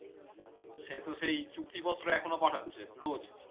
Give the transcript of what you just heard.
সে তো সেই চুক্তিপত্র এখনো পাঠাচ্ছে রোজ